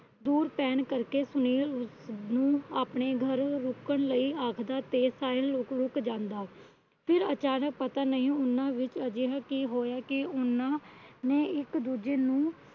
ਦੂਰ ਪੈਣ ਕਰਕੇ ਸੁਨੀਲ ਉਸ ਨੂੰ ਆਪਣੇ ਘਰ ਰੁਕਣ ਲਈ ਆਖਦਾ ਤੇ ਸਾਹਿਲ ਰੁਕ ਰੁਕ ਜਾਂਦਾ। ਫਿਰ ਅਚਾਨਕ ਪਤਾ ਨਹੀਂ ਉਹਨਾਂ ਵਿਚ ਅਜਿਹਾ ਕਿ ਹੋਇਆ ਕਿ ਉਹਨਾਂ ਨੇ ਇੱਕ ਦੂਜੇ ਨੂੰ